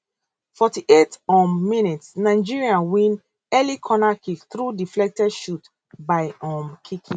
forty eight um mins nigeria win early cornerkick through deflected shot by um kiki